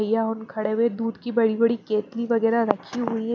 यहां हम खड़ें हुए दूध की बड़ी-बड़ी केतली वगैरह रखी हुई है।